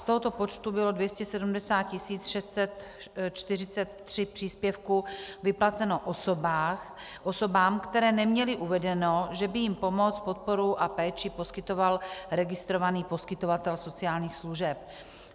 Z tohoto počtu bylo 270 643 příspěvků vyplaceno osobám, které neměly uvedeno, že by jim pomoc, podporu a péči poskytoval registrovaný poskytovatel sociálních služeb.